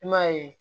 I m'a ye